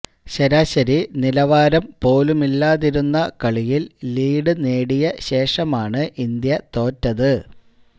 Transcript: ശരാശരി നിലവാരം പോലുമില്ലാതിരുന്ന കളിയില് ലീഡ് നേടിയ ശേഷമാണ് ഇന്ത്യ തോറ്റത്